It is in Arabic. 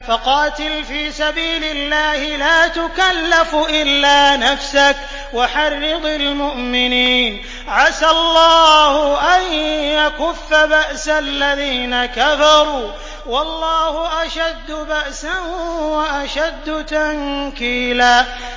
فَقَاتِلْ فِي سَبِيلِ اللَّهِ لَا تُكَلَّفُ إِلَّا نَفْسَكَ ۚ وَحَرِّضِ الْمُؤْمِنِينَ ۖ عَسَى اللَّهُ أَن يَكُفَّ بَأْسَ الَّذِينَ كَفَرُوا ۚ وَاللَّهُ أَشَدُّ بَأْسًا وَأَشَدُّ تَنكِيلًا